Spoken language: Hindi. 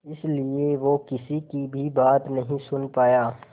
इसलिए वो किसी की भी बात नहीं सुन पाया